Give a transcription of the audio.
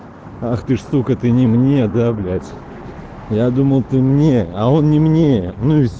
ах ты штука ты не мне да блять я думал ты мне а он не мне